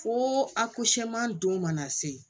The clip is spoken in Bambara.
Fo a don mana se